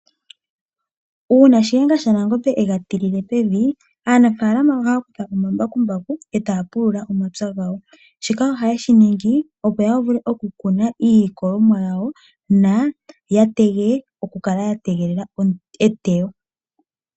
Uuna Shiyenga shaNangombe ega tile pevi aanafalama ohaya kutha omambakumbaku etaya pulula omapya gawo. Shika ohaye shi ningi opo ya vule oku kuna iilikolomwa yawo yo ya vule oku kala ya tegelela etewo.